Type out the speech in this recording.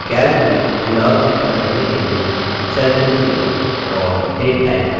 calc में दिनांक enter करने के लिए cell को चुनें और date type करें